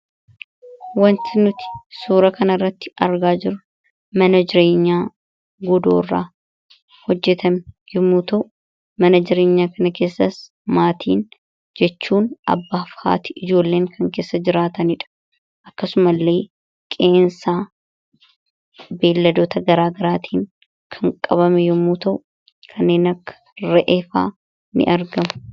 wanti nuti suura kana irratti argaa jiru mana jireenyaa godoo irraa hojjetame yommuu ta'uu mana jireenyaa kana keessas maatiin jechuun abbaa fi haati ijoolleen kan keessa jiraataniidha akkasuma illee qe'ensaa beelladota garaagaraatiin kan qabame yommu ta'u kaneen akka ra’ee fa'a ni argamu